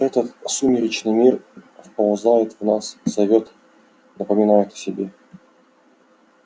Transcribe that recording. это сумеречный мир вползает в нас зовёт напоминает о себе